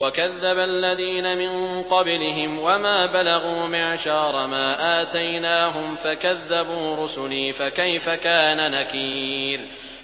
وَكَذَّبَ الَّذِينَ مِن قَبْلِهِمْ وَمَا بَلَغُوا مِعْشَارَ مَا آتَيْنَاهُمْ فَكَذَّبُوا رُسُلِي ۖ فَكَيْفَ كَانَ نَكِيرِ